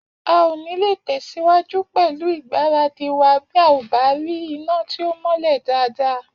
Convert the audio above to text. A ò nílé tẹ̀síwájú pẹ̀lú ìgbáradì wa bí a ò bá rí iná tí ó mọ́lẹ̀ dáadáa